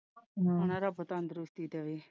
ਹਾਂ ਰੱਬ ਤੰਦਰੁਸਤੀ ਦੇਵੇ,